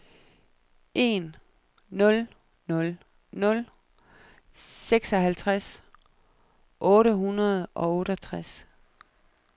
en nul nul nul seksoghalvtreds otte hundrede og otteogtres